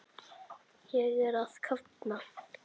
Ég er að kafna.